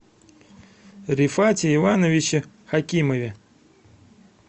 рифате ивановиче хакимове